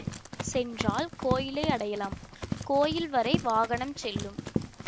சென்றால் கோயிலை அடையலாம் கோயில் வரை வாகனம் செல்லும்